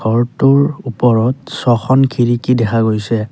ঘৰটোৰ ওপৰত ছখন খিৰিকী দেখা গৈছে।